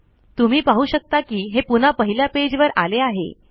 तुम्ही पाहू शकता कि हे पुन्हा पहिल्या पेज वर आले आहे